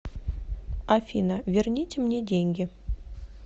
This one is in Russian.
афина верните мне деньги